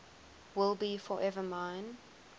will be forever mine